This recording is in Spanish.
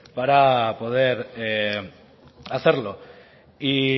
para poder hacerlo y